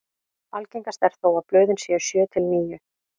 algengast er þó að blöðin séu sjö til níu